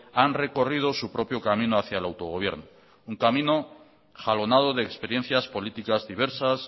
han recorrido su propio camino hacia el autogobierno un camino jalonado de experiencias políticas diversas